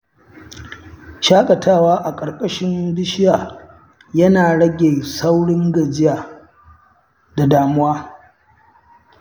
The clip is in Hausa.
Shaƙatawa a ƙarƙashin bishiya yana rage saurin gajiya da damuwa.